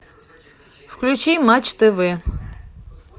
включи матч тв